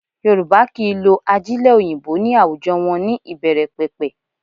Yorùbá kì í lo ajílẹ̀ òyìnbó ní àwùjọ wọn ní ìbẹ̀rẹ̀pẹ̀pẹ̀